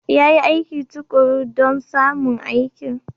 Ya yi aiki tuƙuru don samun aikin.